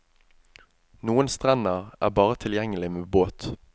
Noen strender er bare tilgjengelig med båt.